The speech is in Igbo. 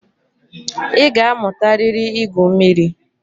Ị ga-amụtarịrị ígwū mmiri.